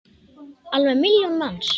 Alveg milljón manns!